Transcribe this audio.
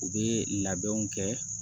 U bɛ labɛnw kɛ